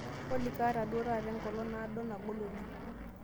olly kaata duo taata enkolong naado nagol oleng